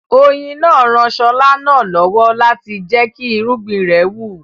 Oyin náà ran Ṣọlá náà lọ́wọ́ láti jẹ́kí irúgbìn rẹ̀ wù